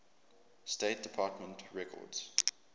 state department records